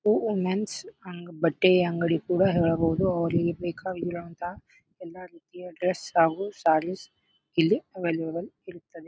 Women's ಹಂಗ್ ಬಟ್ಟೆ ಅಂಗಡಿ ಕೂಡ ಹೇಳಬಹುದು ಅವ್ರಿಗೆ ಬೇಕಾಗಿರುವಂತಹ ಎಲ್ಲಾ ರೀತಿಯ ಡ್ರೆಸ್ ಹಾಗು ಸ್ಯಾರೀಸ್ ಇಲ್ಲಿ ಅವೈಲೆಬಲ ಇರುತ್ತದೆ.